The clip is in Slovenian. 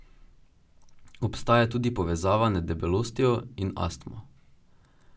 Obstaja tudi povezava med debelostjo otrok in astmo.